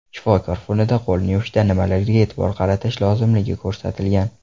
Shifokor fonida qo‘lni yuvishda nimalarga e’tibor qaratish lozimligi ko‘ratilgan.